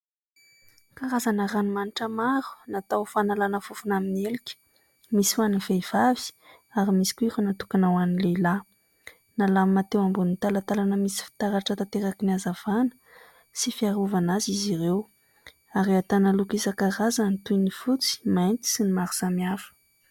Karazana ranomanitra maro natao ho fanalana fofona amin'ny helika misy ho an'ny vehivavy ary misy koa ireo natokana ho an'ny lehilahy. Nalamina teo ambonin'ny talantalana misy fitaratra tanteraka ny hazavana sy fiarovana azy izy ireo ary ahitana loko isan-karazany toy ny fotsy, mainty sy ny maro samihafa.